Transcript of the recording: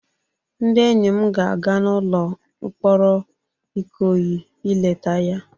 Ndị enyi m ga-aga n'ụlọ mkpọrọ Ikoyi ị leta ya